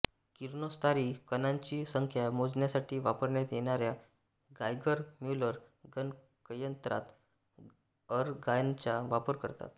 किरणोत्सारी कणांची संख्या मोजण्यासाठी वापरण्यात येणाऱ्या गायगर म्यूलर गणकयंत्रात अरगॉनचा वापर करतात